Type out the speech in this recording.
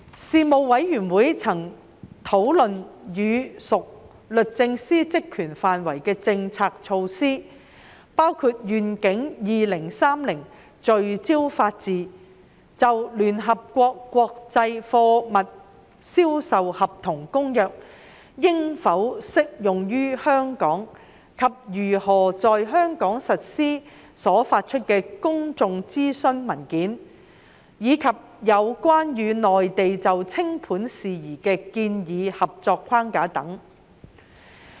事務委員會曾討論與屬律政司職權範圍的政策措施，包括"願景 2030—— 聚焦法治"、就《聯合國國際貨物銷售合同公約》應否適用於香港及如何在香港實施所發出的公眾諮詢文件，以及有關與內地就清盤事宜的建議合作框架等。